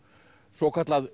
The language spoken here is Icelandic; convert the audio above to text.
svokallað